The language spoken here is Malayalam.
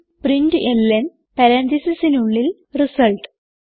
പ്രിന്റ്ലൻ പരാൻതീസിസിനുള്ളിൽ റിസൾട്ട്